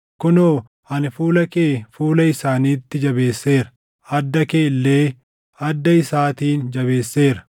Kunoo, ani fuula kee fuula isaaniitti jabeesseera; adda kee illee adda isaatiin jabeesseera.